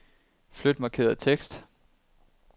Flyt markerede tekst.